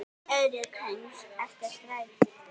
Eyríki heims eftir stærð